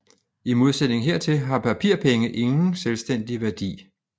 I modsætning hertil har papirpenge ingen selvstændig værdi